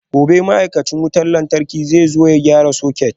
Gobe ​​ma'aikacin wutar lantarki zai zo ya gyara soket